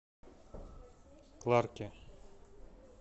кларке